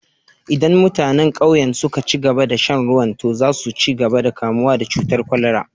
Idan mutanen ƙauyen suka ci gaba da shan ruwan, to za su ci gaba da kamuwa da cutar kwalara